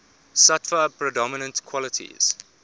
sattva predominant qualities